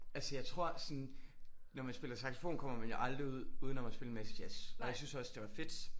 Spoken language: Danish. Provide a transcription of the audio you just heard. Altså jeg tror sådan når man spiller saxofon kommer man jo aldrig uden om at spille en masse jazz og jeg syntes også det var fedt